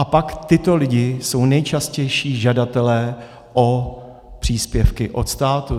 A pak tito lidé jsou nejčastější žadatelé o příspěvky od státu.